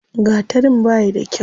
Gatarin bayi da kyau.